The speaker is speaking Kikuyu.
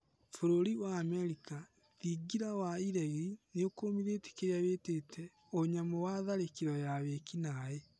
Bũrũri-inĩ wa Amerika, thingira wa iregi nĩũkũmithĩtie kĩrĩa wĩtĩte "ũnyamũ wa tharĩkĩro ya wĩkinaĩ "